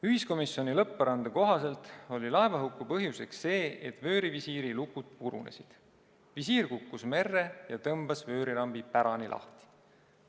Ühiskomisjoni lõpparuande kohaselt oli laevahuku põhjus see, et vöörivisiiri lukud purunesid, visiir kukkus merre ja tõmbas vöörirambi pärani lahti.